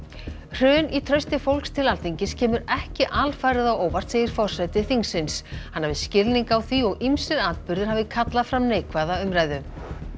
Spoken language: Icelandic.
hrun í trausti fólks til Alþingis kemur ekki alfarið á óvart segir forseti þingsins hann hafi skilning á því og ýmsir atburðir hafi kallað fram neikvæða umræðu